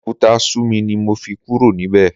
Abẹ́òkúta sú mi ni mo fi kúrò níbẹ̀.